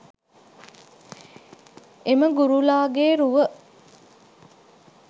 එම ගුරුලාගේ රුව